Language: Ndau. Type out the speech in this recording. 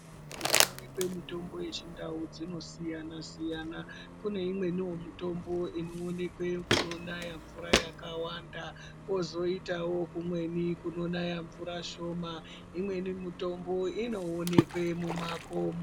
Kuno oneke mitombo ye chindau dzino siyana siyana kune imweni ye mitombo ino onekwe kuno naya mvura yakawanda kozitawo kumweni kuno naya mvura shoma imweni mutombo ino oneke mu makomo.